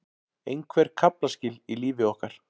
Einhver kaflaskil í lífi okkar.